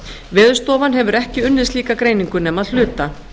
veðurstofan hefur ekki unnið slíka greiningu nema að hluta